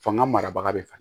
Fanga marabaga bɛ faga